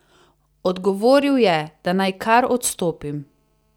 Odgovoril je, da naj kar odstopim.